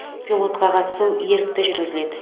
пилотқа қатысу ерікті жүргізіледі